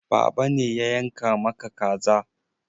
Baba ne ya yanka maka kaza.